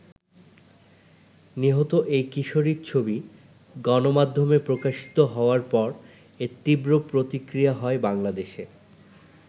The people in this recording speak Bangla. নিহত এই কিশোরির ছবি গণমাধ্যমে প্রকাশিত হওয়ার পর এর তীব্র প্রতিক্রিয়া হয় বাংলাদেশে।